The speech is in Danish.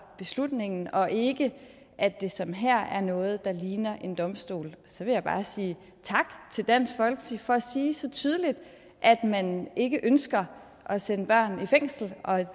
beslutningen og ikke at det som her er noget der ligner en domstol og så vil jeg bare sige tak til dansk folkeparti for at sige så tydeligt at man ikke ønsker at sende børn i fængsel